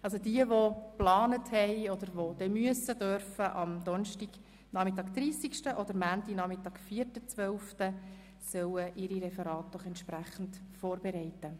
Diejenigen unter Ihnen, welche bereits wissen, dass sie an diesen Halbtagen sprechen werden, mögen ihre Referate doch entsprechend vorbereiten.